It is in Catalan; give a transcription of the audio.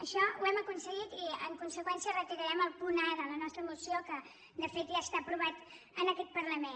això ho hem aconseguit i en conseqüència retirarem el punt a de la nostra moció que de fet ja està aprovat en aquest parlament